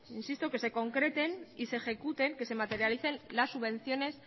insisto que se concreten y se ejecuten que se materialicen las subvenciones